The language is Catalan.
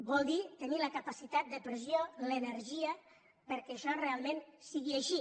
vol dir tenir la capacitat de pressió l’energia perquè això realment sigui així